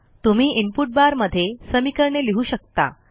तुम्ही input bar मध्ये समीकरणे लिहू शकता